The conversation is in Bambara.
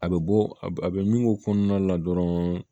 A bɛ bɔ a bɛ min ko kɔnɔna la dɔrɔn